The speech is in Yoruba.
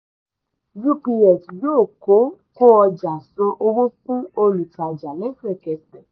ups yóò kó kó ọjà san owó fún olùtajà lẹ́sẹ̀kẹsẹ̀.